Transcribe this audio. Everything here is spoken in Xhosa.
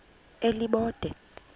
elibode